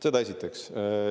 Seda esiteks.